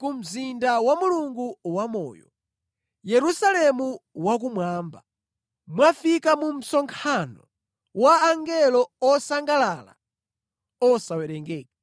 ku mzinda wa Mulungu wamoyo, Yerusalemu wakumwamba. Mwafika mu msonkhano wa angelo osangalala osawerengeka.